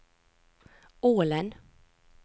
Ålen